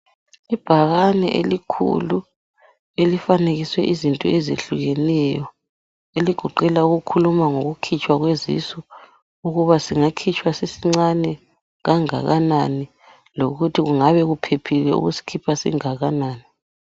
Ibhakane elikhulu elifanekiswe izinto ezehlukeneyo eligoqela ukukhuluma ngokukhitshwa kwezisu , ukuba singakhitshwa sisincane kangakanani lokuthi kungabe kuphephile ukusikhipha singakanani.